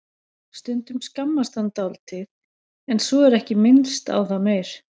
Stundum skammast hann dálítið en svo er ekki minnst á það meir.